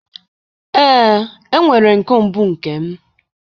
Ee, enwere m kombu nke m